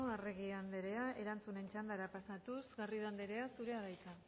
arregi anderea erantzunen txandara pasatuz garrido anderea zurea da hitza